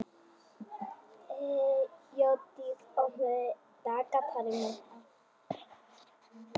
Þeódís, opnaðu dagatalið mitt.